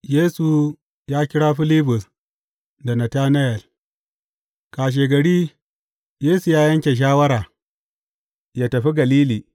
Yesu ya kira Filibus da Natanayel Kashegari Yesu ya yanke shawara yă tafi Galili.